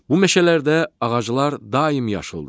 Bu meşələrdə ağaclar daim yaşıldır.